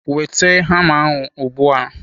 Weta hama ahụ ugbu a!